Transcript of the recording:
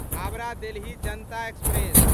Howrah Delhi Janata express